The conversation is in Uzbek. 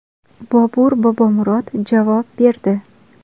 Bobur Bobomurod javob berdi .